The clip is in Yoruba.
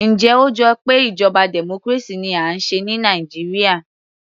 Njẹ́ ó jọ pé ìjọba democracy ni à ń ṣe ní Nàìjíríà